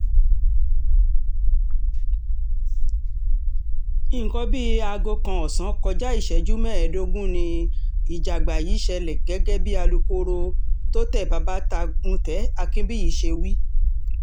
nǹkan bíi aago um kan ọ̀sán kọjá ìṣẹ́jú mẹ́ẹ̀ẹ́dógún ni ìjàgbá yìí ṣẹlẹ̀ gẹ́gẹ́ bí alūkkóró um tôte babatagùntẹ akinbíyì ṣe wí